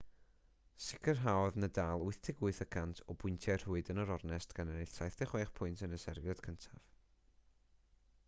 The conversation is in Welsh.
sicrhaodd nadal 88% o bwyntiau rhwyd yn yr ornest gan ennill 76 pwynt yn y serfiad cyntaf